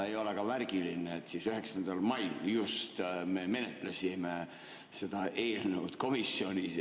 Oli ka märgiline, et just 9. mail me menetlesime seda eelnõu komisjonis.